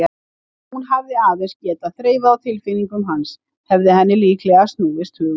Ef hún hefði aðeins getað þreifað á tilfinningum hans hefði henni líklega snúist hugur.